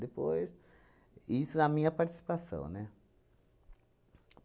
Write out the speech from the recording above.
Depois, isso na minha participação, né?